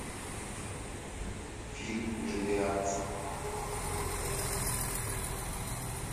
фильм миллиард